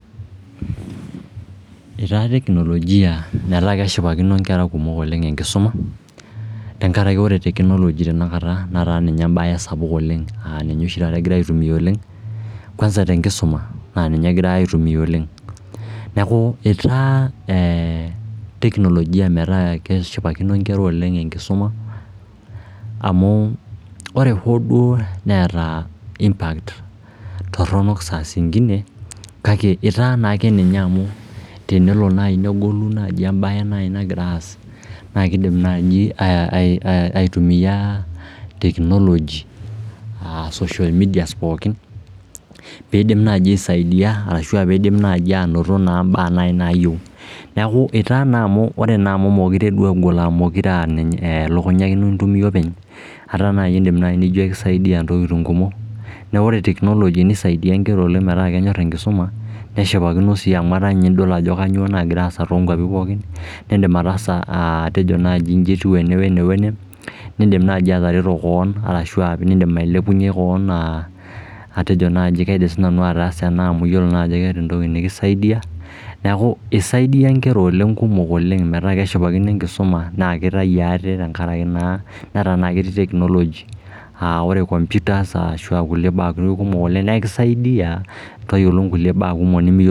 Itaa teknolojia metaa keshipakino nkera kumok enkisoma tenkaraki ore technology tenakata netaa ninye embae sapuo oleng aa ninye taata egirae aitumia oleng kwanza tenkisuma naa ninye egirae aitumia oleng. Neeku etaa teknolojia metaa keshipakino inkera oleng enkisuma amu ore hoo duo neeta impact torrono saa zingine, kake etaa naa ake ninye amu tenelo naai negolu naai embae naaji nagira aas nakiidim naai aitumia technology aa social media pookin piindim naai aisaidia arashu aa piindim naai anoto naa imbaak naai nayieu. Neeku itaa na amu ore naa amu mokure egol amu elukunya ake ino intumia openy, ata naai eniindim nijo kisaidia ntokiting kumok, naa ore technology nisaidia nkera oleng metaa kenyorr enkisuma neshipakino sii amu etaa ninye idol ajo kanyoo nagira aasa tonkwapi pookin, niindim ataasa, atejo naaji nji etiu ene wene, niindim naaji atareto koon ashu niindim ailepunye koon aa atejo naji kaidim siinanu ataasa ena amu iyiolo naa ajo keeta entoki nakisaidia. Neeku isaidia inkera oleng kumok, nkumok oleng metaa keshipakino enkisuma naa kitai ate tenkaraki naa netaa naa ketii technology aa ore computers ashu aa kulie baak kumok oleng nekisaidia tayiolo nkulie baak kumok nemiyiolo